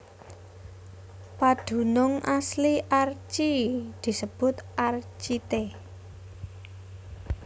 Padunung asli Archi disebut Archite